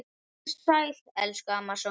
Vertu sæl, elsku amma Soffa.